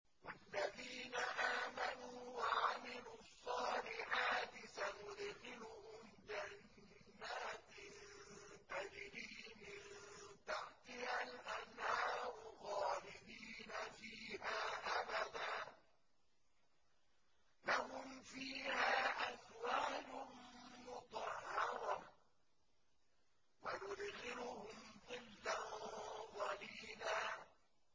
وَالَّذِينَ آمَنُوا وَعَمِلُوا الصَّالِحَاتِ سَنُدْخِلُهُمْ جَنَّاتٍ تَجْرِي مِن تَحْتِهَا الْأَنْهَارُ خَالِدِينَ فِيهَا أَبَدًا ۖ لَّهُمْ فِيهَا أَزْوَاجٌ مُّطَهَّرَةٌ ۖ وَنُدْخِلُهُمْ ظِلًّا ظَلِيلًا